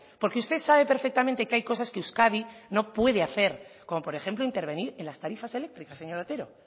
porque usted sabe perfectamente que hay cosas que euskadi no puede hacer como por ejemplo intervenir en las tarifas eléctricas señor otero